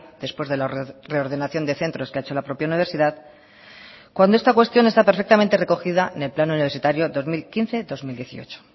después de la reordenación de centros que ha hecho la propia universidad cuando esta cuestión está perfectamente recogida en el plan universitario dos mil quince dos mil dieciocho